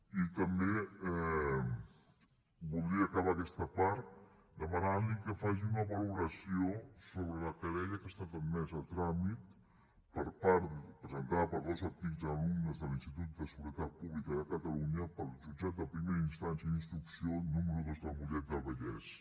i també voldria acabar aquesta part demanant li que faci una valoració sobre la querella que ha estat admesa a tràmit presentada per dos antics alumnes de l’institut de seguretat pública de catalunya pel jutjat de primera instància i instrucció número dos de mollet del vallès